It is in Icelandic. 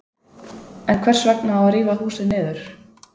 En hvers vegna á að rífa húsið niður?